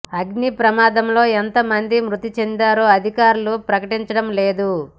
అగ్నిప్రమాదంలో ఎంత మంది మృతి చెందారో అధికారులు ప్రకటించడం లేదు